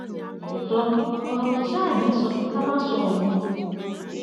òótọ ọrọ kò ṣáà ní í sọ pé ká má sọ òun